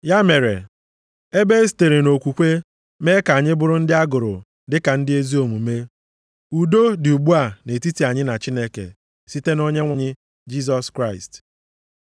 Ya mere, ebe e sitere nʼokwukwe mee ka anyị bụrụ ndị a gụrụ dịka ndị ezi omume, udo dị ugbu a nʼetiti anyị na Chineke site nʼOnyenwe anyị Jisọs Kraịst.